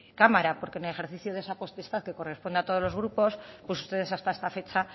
cámara porque en el ejercicio de esa potestad que corresponde a todos los grupos pues ustedes hasta esta fecha